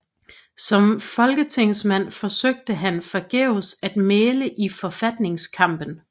Som folketingsmand forsøgte han forgæves at mægle i forfatningskampen